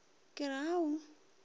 ke re a o a